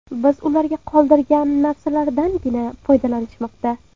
Biz ularga qoldirgan narsalardangina foydalanishmoqda.